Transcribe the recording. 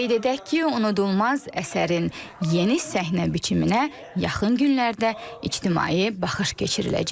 Qeyd edək ki, unudulmaz əsərin yeni səhnə biçiminə yaxın günlərdə ictimai baxış keçiriləcək.